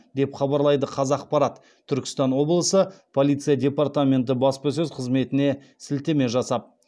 деп хабарлайды қазақпарат түркістан облысы полиция департаменті баспасөз қызметіне сілтеме жасап